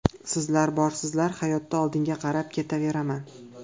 Sizlar borsizlar, hayotda oldinga qarab ketaveraman.